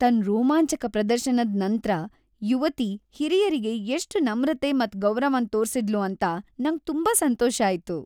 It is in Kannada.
ತನ್ ರೋಮಾಂಚಕ ಪ್ರದರ್ಶನದ್ ನಂತ್ರ ಯುವತಿ ಹಿರಿಯರಿಗೆ ಎಷ್ಟ್ ನಮ್ರತೆ ಮತ್ ಗೌರವನ್ ತೋರ್ಸಿದ್ಳು ಅಂತ ನಂಗ್ ತುಂಬಾ ಸಂತೋಷ ಆಯ್ತು.